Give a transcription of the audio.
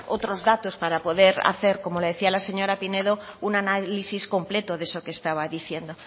otros datos para poder hacer como le decía la señora pinedo un análisis completo de eso que estaba diciendo